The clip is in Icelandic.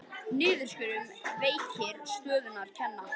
Niðurskurður veikir stöðu kvenna